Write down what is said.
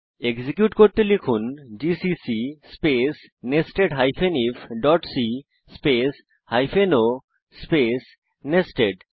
execute করতে লিখুন GCC space nested ifসি space hyphen o space nested